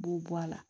B'o bɔ a la